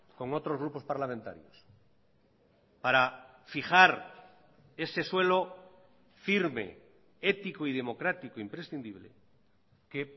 con otros grupos parlamentarios para fijar ese suelo firme ético y democrático imprescindible que